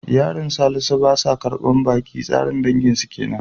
Iyalin Salisu ba sa karbar baki, tsarin danginsu kenan.